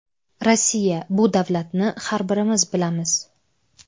Rossiya bu davlatni har birimiz bilamiz.